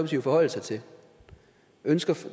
jo forholde sig til ønsker